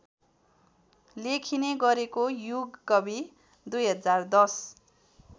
लेखिने गरेको युगकवि २०१०